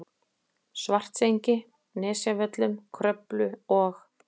Svartsengi, Nesjavöllum, Kröflu og